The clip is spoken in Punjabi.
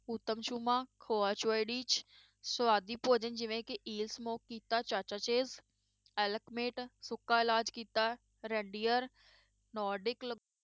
ਊਤਮ ਛੂਮਾ ਸਵਾਦੀ ਭੋਜਨ ਜਿਵੇਂ ਕਿ ਈਸਮੋ ਕੀਤਾ ਚਾਚਾ ਚਿਪਸ, ਐਲਕਮੇਟ ਰੈਨਡੀਅਰ